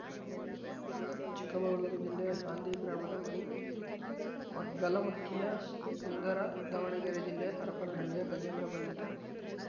ಚಿಕ್ಕಮಗಳೂರು ಜಿಲ್ಲೆ ಹಾಂದಿ ಗ್ರಾಮದ ಮಣಿ ಮಗ್ಗಲಮಕ್ಕಿಯ ಸುಂದರ ದಾವಣಗೆರೆ ಜಿಲ್ಲೆ ಹರಪನಹಳ್ಳಿಯ ಗಜೇಂದ್ರ ಬಂಧಿತರು